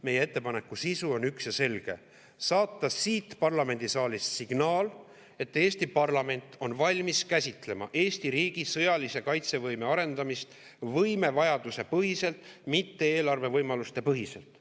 Meie ettepaneku sisu on üks ja selge: saata siit parlamendisaalist signaal, et Eesti parlament on valmis käsitlema Eesti riigi sõjalise kaitsevõime arendamist võimevajaduse põhiselt, mitte eelarve võimaluste põhiselt.